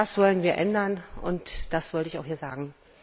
Das wollen wir ändern, und das wollte ich auch hier sagen!